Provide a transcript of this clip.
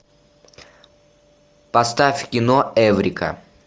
поставь кино эврика